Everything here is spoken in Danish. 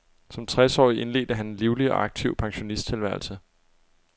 Som tres årig indledte han en livlig og aktiv pensionisttilværelse.